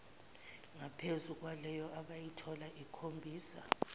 ngaphezukwaleyo abayitholayo ikhombisa